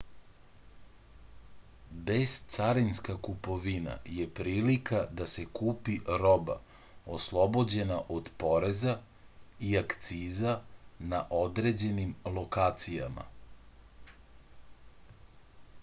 bescarinska kupovina je prilika da se kupi roba oslobođena od poreza i akciza na određenim lokacijama